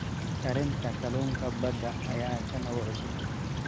Karinta kalluunka badda ayaa ah kan ugu cusub.